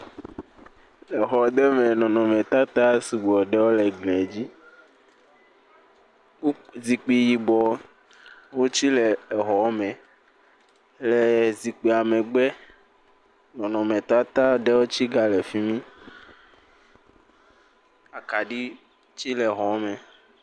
Exɔ ɖe me nɔnɔmetata sugbɔ ɖe eglie dzi, kpo.. zikpui yibe wotse le exɔa me, le zikpuia megbe, nɔnɔmetata ɖewo tse gale fi mi akaɖi tsi gale xɔa me.